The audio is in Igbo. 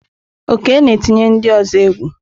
Oke na-etinye ndị ọzọ egwu.